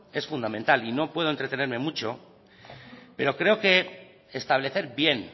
es fundamental y no puedo entretenerme mucho pero creo que establecer bien